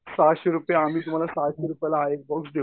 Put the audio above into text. पाचशे रुपयाला आम्ही तुम्हाला सहाशे रुपयाला एक देऊ.